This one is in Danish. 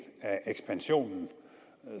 af ekspansionen